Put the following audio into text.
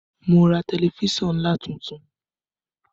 Mo ra tẹlifísàn ńlá tuntun